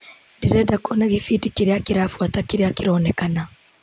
Ndĩrenda kuona gĩbindi kĩrĩa kĩrabuata kĩrĩa kĩraonkana .